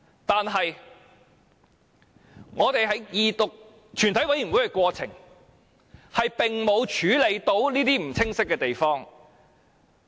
但是，我們在二讀及全體委員會的過程中，並未能處理這些不清晰的地方。